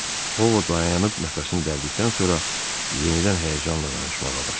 O dayanıb nəfəsini dərdikdən sonra yenidən həyəcanla danışmağa başladı.